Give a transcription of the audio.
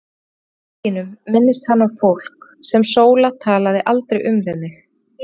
Í bókum sínum minnist hann á fólk, sem Sóla talaði aldrei um við mig.